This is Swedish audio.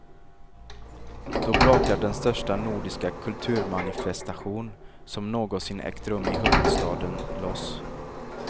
Då brakar den största nordiska kulturmanifestation som någonsin ägt rum i huvudstaden loss.